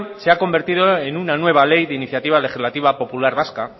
se ha convertido en una nueva ley de iniciativa legislativa popular vasca